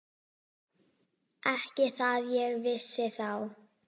Ekki það ég vissi þá.